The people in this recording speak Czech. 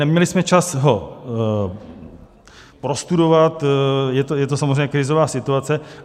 Neměli jsme čas ho prostudovat - je to samozřejmě krizová situace.